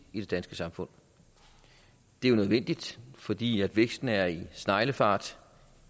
i det danske samfund det er jo nødvendigt fordi væksten er i sneglefart